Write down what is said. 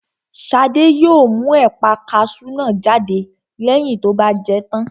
Shade yóò mú ẹ̀pà kasú náà jáde lẹ́yìn tó bá jẹ tán